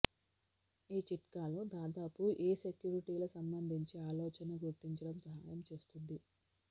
ఈ చిట్కాలు దాదాపు ఏ సెక్యూరిటీల సంబంధించి ఆలోచన గుర్తించడం సహాయం చేస్తుంది